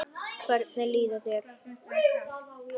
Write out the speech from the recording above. Hvernig líður þér?